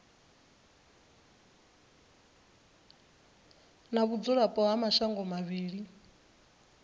na vhudzulapo ha mashango mavhili